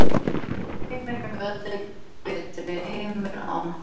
Heimurinn verður betri heimur án hans